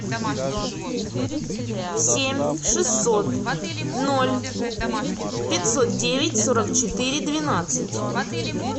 семь шестьсот ноль пятьсот девять сорок четыре двенадцать